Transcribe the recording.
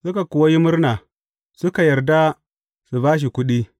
Suka kuwa yi murna, suka yarda su ba shi kuɗi.